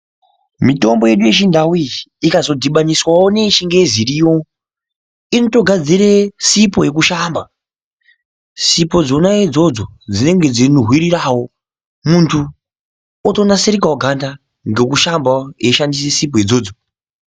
Mitombo yedu yechindau iyi ikazodhibaniswavo neyechingezi iriyo inotogadzire sipo yekushamba. Sipo dzona idzodzo dzinonga dzeinhuhwiriravo muntu otonasirikavo ganga ngekushambavo eishandisa sipo idzodzo.